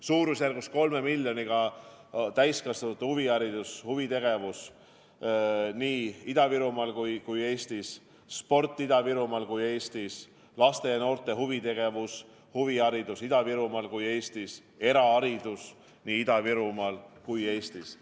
Suurusjärgus 3 miljoniga täiskasvanute huviharidust, huvitegevust nii Ida-Virumaal kui ka Eestis, sporti Ida-Virumaal ja Eestis, laste ja noorte huvitegevust-huviharidust nii Ida-Virumaal kui ka Eestis, eraharidust nii Ida-Virumaal kui ka Eestis.